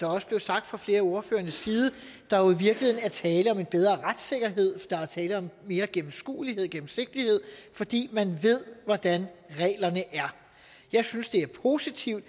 også blev sagt fra flere af ordførernes side at der jo i virkeligheden er tale om en bedre retssikkerhed og at der er tale om mere gennemskuelighed gennemsigtighed fordi man ved hvordan reglerne er jeg synes det er positivt